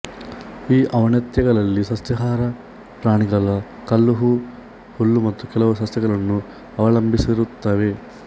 ಈ ಔನತ್ಯಗಳಲ್ಲಿ ಸಸ್ಯಹಾರಿ ಪ್ರಾಣಿಗಳು ಕಲ್ಲುಹೂ ಹುಲ್ಲು ಮತ್ತು ಕೆಲವು ಸಸ್ಯಗಳನ್ನು ಅವಲಂಬಿಸಿರುತ್ತವೆ